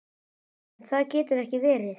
En það getur verið erfitt.